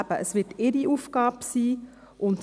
Dies wird ihre Aufgabe sein.